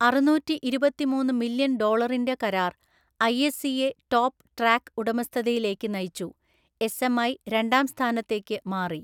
അറുനൂറ്റിഇരുപത്തിമൂന്ന് million ഡോളറിന്റെ കരാർ ഐഎസ്സിയെ ടോപ്പ് ട്രാക്ക് ഉടമസ്ഥതയിലേക്ക് നയിച്ചു, എസ്എംഐ രണ്ടാം സ്ഥാനത്തെക്ക് മാറി.